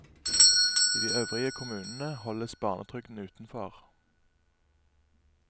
I de øvrige kommunene holdes barnetrygden utenfor.